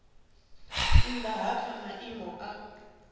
nnda ha kha maimo a